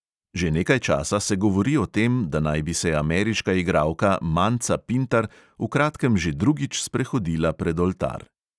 Že nekaj časa se govori o tem, da naj bi se ameriška igralka manca pintar v kratkem že drugič sprehodila pred oltar.